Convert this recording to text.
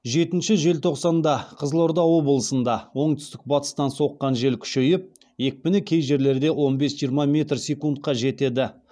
жетінші желтоқсанда қызылорда облысында оңтүстік батыстан соққан жел күшейіп екпіні кей жерлерде он бес жиырма метр секундқа жетеді